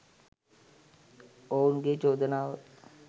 ඔවුන් ගේ චෝදනාව.